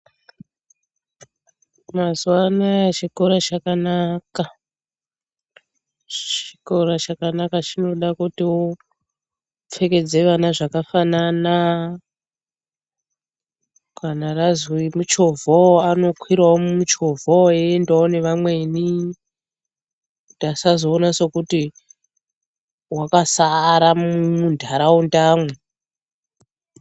Mazuwa anaya chikora chakana. Chikora chakanaka chinoda kuti upfekedze vana zvakafanana kana razwi muchovhawo anokwirawo mumuchovhawo eiendawo nevamweni kuti asazoon kuti wakasara muntaraundamwo.